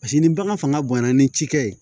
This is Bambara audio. Paseke ni bagan fanga bonyana ni cikɛ ye